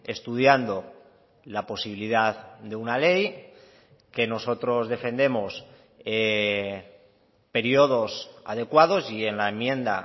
estudiando la posibilidad de una ley que nosotros defendemos periodos adecuados y en la enmienda